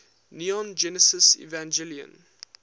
neon genesis evangelion